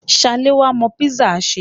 Ṣaléwá mọ písà ṣe.